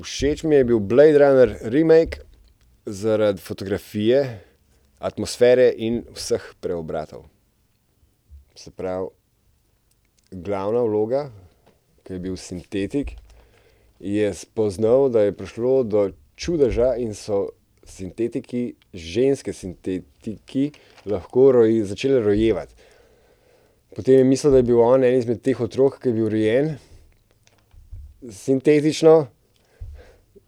Všeč mi je bil Blade runner remake zaradi fotografije, atmosfere in vseh preobratov. Se pravi glavna vloga, ko je bil sintetik, je spoznal, da je prišlo do čudeža in so sintetiki, ženske sintetiki, lahko začele rojevati. Potem je mislil, da je bil on eden izmed teh otrok, ki je bil rojen sintetično,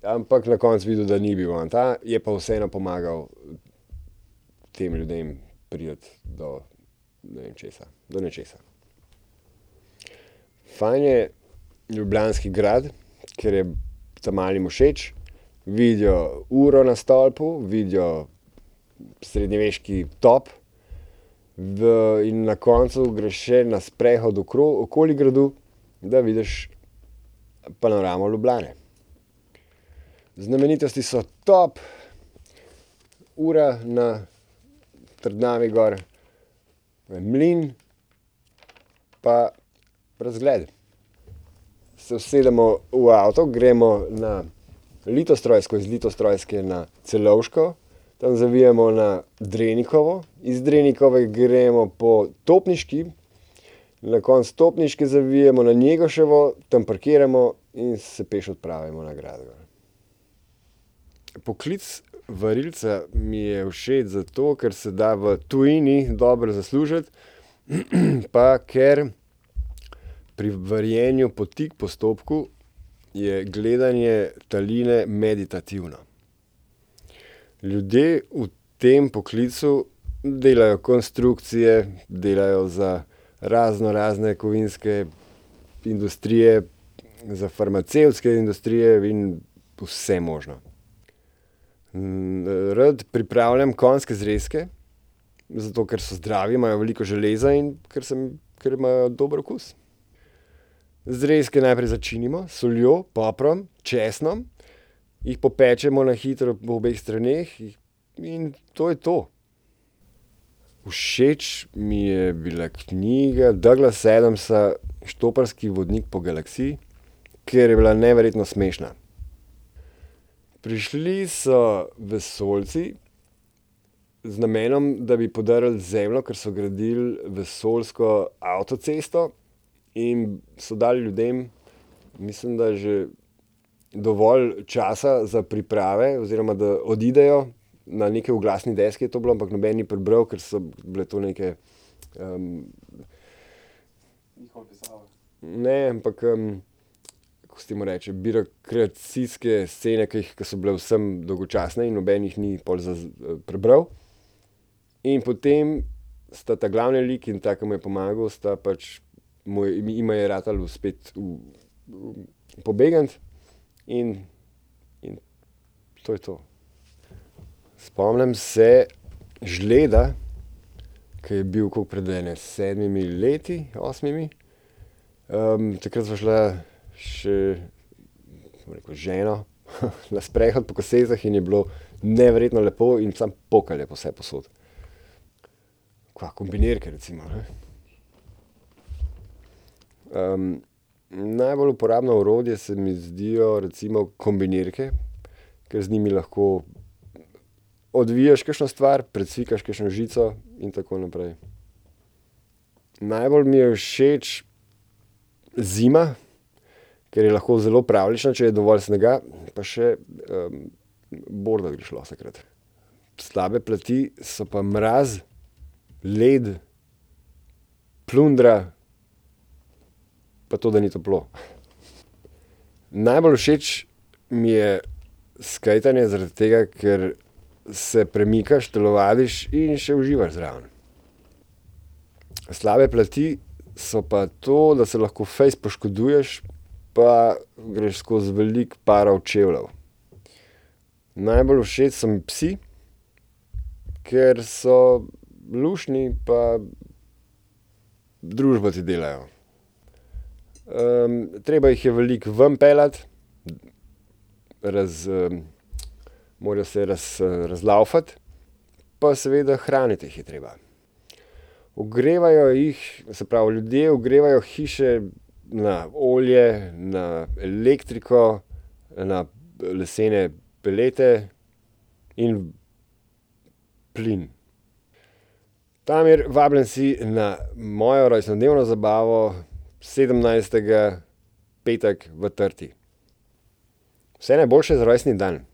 ampak na koncu je videl, da ni bil on ta, je pa vseeno pomagal tem ljudem priti do, ne vem, česa, do nečesa. Fajn je Ljubljanski grad, ker je ta malim všeč, vidijo uro na stolpu, vidijo srednjeveški top, in na koncu greš še na sprehod okoli gradu, da vidiš panoramo Ljubljane. Znamenitosti so top, ura na trdnjavi gor, mlin pa razgled. Se usedemo v avto, gremo na Litostrojsko, iz Litostrojske na Celovško, tam zavijemo na Drenikovo, iz Drenikove gremo po Topniški, na koncu Topniške zavijemo na Njegoševo, tam parkiramo in se peš odpravimo na grad gor. Poklic varilca mi je všeč zato, ker se da v tujini dobro zaslužiti, pa ker pri varjenju po tik postopku je gledanje taline meditativno. Ljudje v tem poklicu delajo konstrukcije, delajo za raznorazne kovinske industrije, za farmacevtske industrije in vse možno. rad pripravljam konjske zrezke. Zato ker so zdravi, imajo veliko železa in ker sem, kar imajo dober okus. Zrezke najprej začinimo s soljo, poprom, česnom, jih popečemo na hitro po obeh straneh, in to je to. Všeč mi je bila knjiga Douglasa Adamsa Štoparski vodnik po galaksiji, ker je bila neverjetno smešna. Prišli so vesoljci, z namenom, da bi podrli Zemljo, ker so gradili vesoljsko avtocesto, in so dali ljudem, mislim, da že dovolj časa za priprave oziroma da odidejo. Na neki oglasni deski je to bilo, ampak noben ni prebral, ker so bile to neke, ne, ampak, kako se temu reče, birokracijske scene, ki jih, ke so bile vsem dolgočasne in noben jih ni pol prebral. In potem sta ta glavni lik in ta, ki mu je pomagal, sta pač mu, jima je ratalo uspeti v pobegniti. In, in to je to. Spomnim se žleda, ke je bil, koliko, pred ene sedmimi leti, osmimi. takrat sva šla še, bom rekel, ženo, na sprehod po Kosezah in je bilo neverjetno lepo in samo pokalo je vsepovsod. Kaj, kombinirke recimo, ne. najbolj uporabno orodje se mi zdijo recimo kombinirke, ker z njimi lahko odviješ kakšno stvar, precvikaš kakšno žico in tako naprej. Najbolj mi je všeč zima, ker je lahko zelo pravljična, če je dovolj snega, pa še, bordat greš lahko takrat. Slabe plati so pa mraz, led, plundra pa to, da ni toplo. Najbolj všeč mi je skejtanje, zaradi tega, ker se premikaš, telovadiš in še uživaš zraven. Slabe plati so pa to, da se lahko fejst poškoduješ, pa greš skozi veliko parov čevljev. Najbolj všeč so mi psi, ker so luštni pa družbo ti delajo. treba jih je veliko ven peljati, morajo se razlavfati. Pa seveda hraniti jih je treba. Ogrevajo jih, se pravi, ljudje ogrevajo hiše na olje, na elektriko, na, lesene pelete in plin. Damir, vabljen si na mojo rojstnodnevno zabavo sedemnajstega, petek, v Trti. Vse najboljše za rojstni dan.